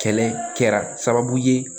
Kɛlɛ kɛra sababu ye